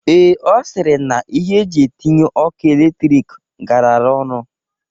Ee, Ọ sịrị na ihe eji etinye ọkụ elektrik garara ọnụ.